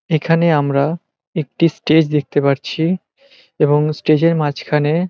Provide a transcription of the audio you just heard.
এখানে আমরা একটি স্টেজ দেখতে পারছি এবং স্টেজ - এর মাঝখানে--